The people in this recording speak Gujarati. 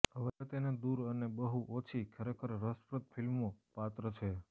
હવે તેને દૂર અને બહુ ઓછી ખરેખર રસપ્રદ ફિલ્મો પાત્ર છે